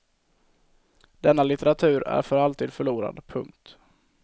Denna litteratur är för alltid förlorad. punkt